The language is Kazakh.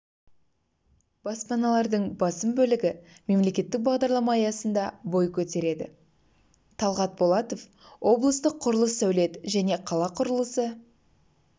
баспаналардың басым бөлігі мемлекеттік бағдарлама аясында бой көтереді талғат болатов облыстық құрылыс сәулет және қала құрылысы